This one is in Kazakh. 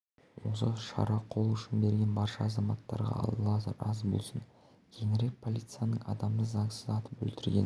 осы шара қол ұшын берген барша азаматтарға алла разы болсын кейінірек полицияның адамды заңсыз атып өлтіргені